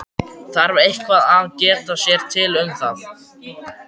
Þarf eitthvað að geta sér til um það?